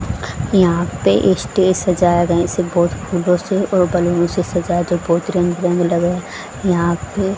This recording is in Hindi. यहां पे स्टेज सजाया गया है इसे बहुत फूलों से और बैलून से सजाया जो बहुत रंग बिरंगे लग रहा यहां पे --